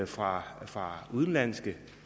fra fra udenlandske